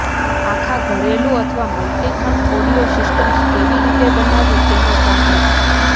આખા ઘરેલુ અથવા મલ્ટી ખંડ ઑડિઓ સિસ્ટમ્સ કેવી રીતે બનાવવી તેનો ઝાંખી